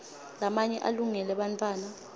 lamanye alungele bantfwana